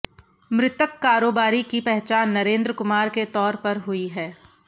मृतक कारोबारी की पहचान नरेंद्र कुमार के तौर पर हुई है